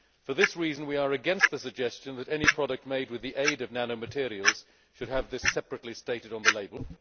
For this reason we are against the suggestion that any product made with the aid of nanomaterials should have this separately stated on the label.